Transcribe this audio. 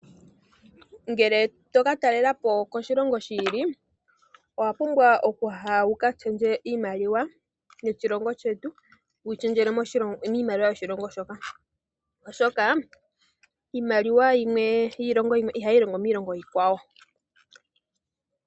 Ngele toka talela po koshilongo shi ili, owapumbwa okuya wuka shendje iimaliwa yoshilongo shetu, wuyi shendjele miimaliwa yoshilongo shoka. Oshoka, iimaliwa yimwe yiilongo yimwe ihayi longo miilongo iikwawo.